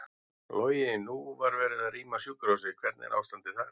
Logi: Nú var verið að rýma sjúkrahúsið, hvernig er ástandið þar?